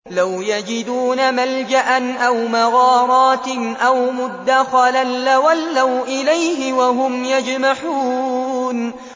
لَوْ يَجِدُونَ مَلْجَأً أَوْ مَغَارَاتٍ أَوْ مُدَّخَلًا لَّوَلَّوْا إِلَيْهِ وَهُمْ يَجْمَحُونَ